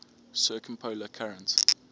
circumpolar current